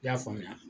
I y'a faamuya